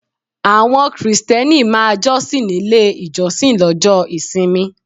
Àwọn Krìsìtẹ́nì máa jọ́sìn nílé ìjọsìn lọ́jọ́ ìsinmi.